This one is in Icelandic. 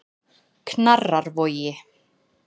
Knarrarvogi